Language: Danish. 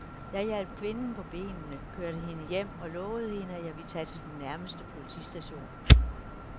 Jeg hjalp kvinden på benene, kørte hende hjem og lovede hende, at jeg ville tage til den nærmeste politistation.